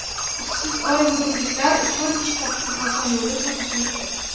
Ishsiz orenburgliklar uchun ish topishning oson yo‘li sotuvchilikdir.